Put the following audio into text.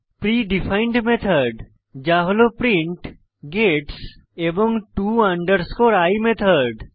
প্রী defined method যা হল print gets এবং to i মেথড